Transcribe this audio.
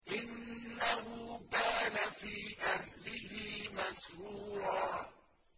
إِنَّهُ كَانَ فِي أَهْلِهِ مَسْرُورًا